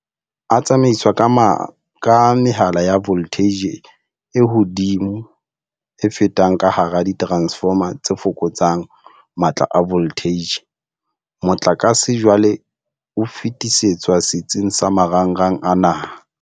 A tsamaiswa ka mehala ya voltheije e hodimo e fetang ka hara diteransefoma tse fokotsang matla a voltheije. Motlakase jwale o fetisetswa setsing sa marangrang a naha.